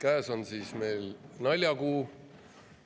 Käes on meil siis naljakuu.